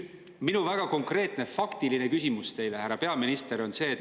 Minu väga konkreetne faktiline küsimus teile, härra peaminister, on see.